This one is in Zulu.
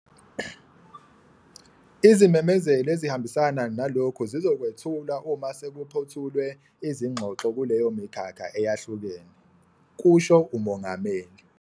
"Izimemezelo ezihambisana nalokhu zizokwethulwa uma sekuphothulwe izingxoxo kuleyo mikhakha eyahlukene," kusho uMongameli.